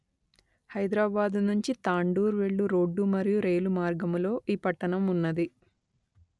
హైదరాబాదు నుంచి తాండూర్ వెళ్ళు రోడ్డు మరియు రైలు మార్గములో ఈ పట్టణం ఉన్నది